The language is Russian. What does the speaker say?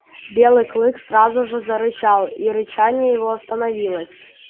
белый клык сразу же зарычал и рычание его становилось